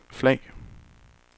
flag